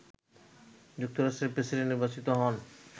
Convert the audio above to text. যুক্তরাষ্ট্রের প্রেসিডেন্ট নির্বাচিত হন